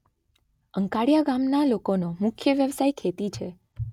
અંકાડીયા ગામના લોકોનો મુખ્ય વ્યવસાય ખેતી છે.